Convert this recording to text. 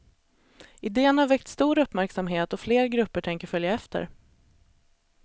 Iden har väckt stor uppmärksamhet och fler grupper tänker följa efter.